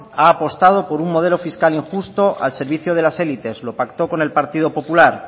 ha apostado por un modelo fiscal injusto al servicio de las élites lo pacto con el partido popular